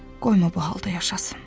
Qoyma bu halda yaşasın.